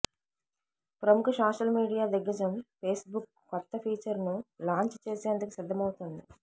ప్రముఖ social media దిగ్గజం Facebook కొత్త ఫీచర్ను లాంచ్ చేసేందుకు సిద్ధమవుతోంది